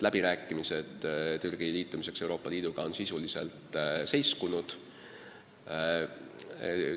Läbirääkimised Türgi ühinemiseks Euroopa Liiduga on sisuliselt seiskunud.